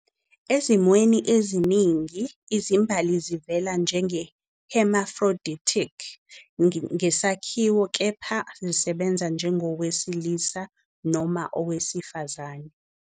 Ezimweni eziningi, izimbali zivela njenge-hermaphroditic ngesakhiwo, kepha zisebenza njengowesilisa noma owesifazane.